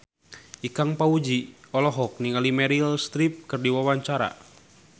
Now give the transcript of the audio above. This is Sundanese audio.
Ikang Fawzi olohok ningali Meryl Streep keur diwawancara